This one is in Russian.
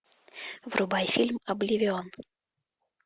врубай фильм обливион